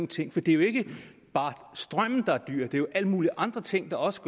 ting for det er jo ikke bare strømmen der er dyr det er jo alle mulige andre ting der også